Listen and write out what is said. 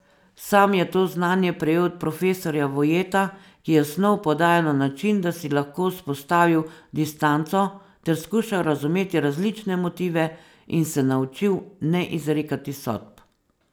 Sam je to znanje prejel od profesorja Vojeta, ki je snov podajal na način, da si lahko vzpostavil distanco ter skušal razumeti različne motive in se naučil ne izrekati sodb.